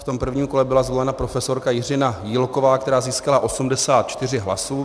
V tom prvním kole byla zvolena profesorka Jiřina Jílková, která získala 84 hlasů.